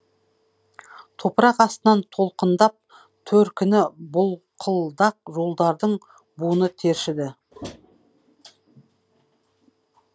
топырақ астынан толқындап төркіні бұлқылдақ жолдардың буыны тершіді